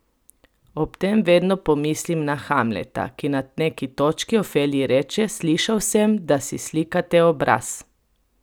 Ob tem vedno pomislim na Hamleta, ki na neki točki Ofeliji reče: "Slišal sem, da si slikate obraz!